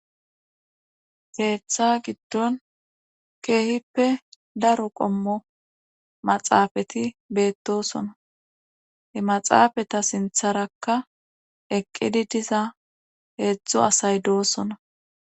Keeththa giddon keehippe daro qommo maxaafati beettosona he maxaafata sintharakka eqqidi diza heedzdzo asay doosona.